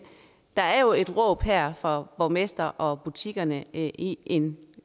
der er jo et råb her fra borgmesteren og butikkerne i en